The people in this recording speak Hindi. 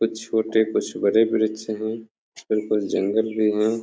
कुछ छोटे कुछ बड़े वृक्ष हैं फिर कुछ जंगल भी हैं।